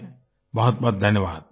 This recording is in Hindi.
बहुतबहुत धन्यवाद